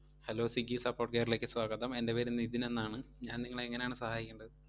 Hello Swiggy support care ലേക്ക് സ്വാഗതം. എൻ്റെ പേര് നിതിൻ എന്നാണ്. ഞാൻ നിങ്ങളെ എങ്ങനെയാണ് സഹയായിക്കണ്ടത്?